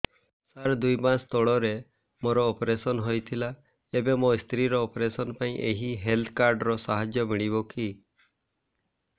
ସାର ଦୁଇ ମାସ ତଳରେ ମୋର ଅପେରସନ ହୈ ଥିଲା ଏବେ ମୋ ସ୍ତ୍ରୀ ର ଅପେରସନ ପାଇଁ ଏହି ହେଲ୍ଥ କାର୍ଡ ର ସାହାଯ୍ୟ ମିଳିବ କି